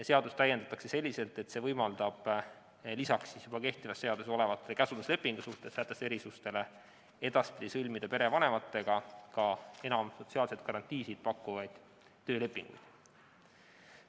Seadust täiendatakse selliselt, et see võimaldab edaspidi sõlmida perevanematega ka enam sotsiaalseid garantiisid pakkuvaid töölepinguid.